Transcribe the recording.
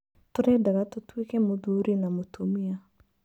Tũrendaga tũtwĩke Mũthurĩ na mũtumia.